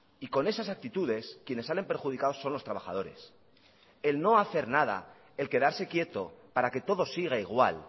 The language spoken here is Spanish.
y con esas actitudes quienes salen perjudicados son los trabajadores el no hacer nada el quedarse quieto para que todo siga igual